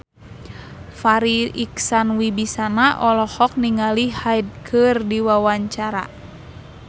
Farri Icksan Wibisana olohok ningali Hyde keur diwawancara